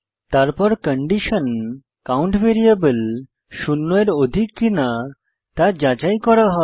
তারপর condition count variable শূন্য এর অধিক কিনা তা যাচাই করা হয়